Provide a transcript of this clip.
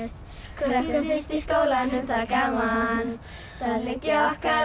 krökkum finnst í skólanum þar gaman þar liggja okkar